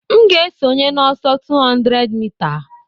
M ga-esonye n'ọsọ 200 mita